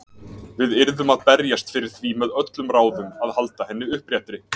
Við yrðum að berjast fyrir því með öllum ráðum að halda henni uppréttri.